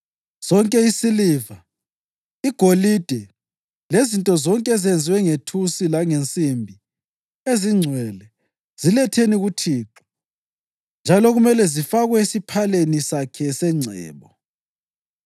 Sonke isiliva, igolide lezinto zonke ezenziwe ngethusi langensimbi ezingcwele ziletheni kuThixo njalo kumele zifakwe esiphaleni sakhe sengcebo.”